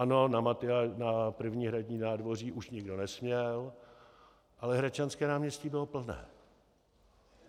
Ano, na první hradní nádvoří už nikdo nesměl, ale Hradčanské náměstí bylo plné.